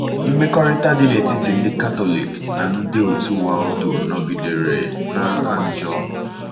Mmekọrịta dị n’etiti ndị Katọlik na ndị òtù Waldo nọgidere na - aka njọ.